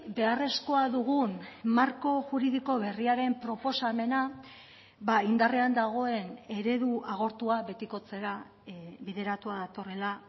beharrezkoa dugun marko juridiko berriaren proposamena indarrean dagoen eredu agortua betikotzera bideratua datorrela